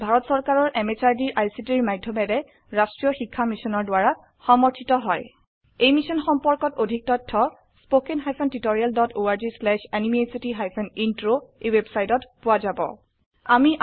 ই ভাৰত চৰকাৰৰ MHRDৰ ICTৰ মাধয়মেৰে ৰাস্ত্ৰীয় শিক্ষা মিছনৰ দ্ৱাৰা সমৰ্থিত হয় স্পোকেন টিউটোৰিয়েল প্ৰকল্পৰ সম্পৰ্কে অধিক জানিবলৈ লিঙ্কত উপলব্ধ ভিডিওটো চাওক